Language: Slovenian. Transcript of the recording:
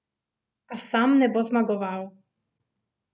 A sam ne bo zmagoval.